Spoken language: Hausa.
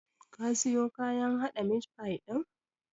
Kin siyo kayan haɗa mit fai ɗin?